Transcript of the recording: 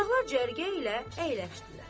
Qonaqlar cərgə ilə əyləşdilər.